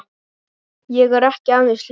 Ég er ekki aðeins ljón.